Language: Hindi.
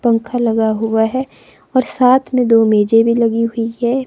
पंख लगा हुआ है और साथ में दो मेजें भी लगी हुई हैं।